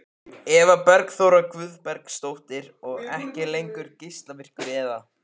Eva Bergþóra Guðbergsdóttir: Og ekki lengur geislavirkur eða?